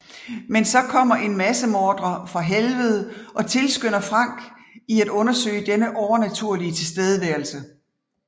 Men så kommer en massemorder fra Helvede og tilskynder Frank i at undersøge denne overnaturlige tilstedeværelse